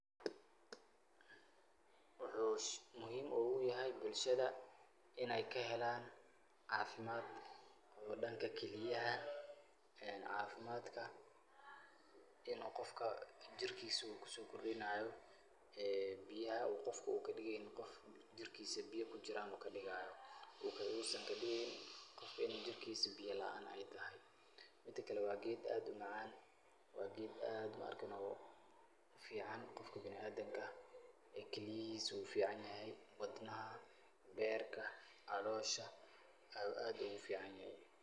Waxuu muhiim ogu yahay bulshada inay kahelaan caafimad iyo dhanka kiliyaha ee cafimadka inu qofka jirkiiisu kusokordhinayo ee biyaha u qofka u kadigaynin qof jirkiisu biya kujiran u kadigaya waxuu uusan kadigayn in jirkiisu biya laan ay tahay mida kale waa geed aad u macaan waa geed maarkino u fican biniadamka kiliyihisa u ficanyahy wadnaha, beerka, caloosha ayu aad ogu ficanyahy.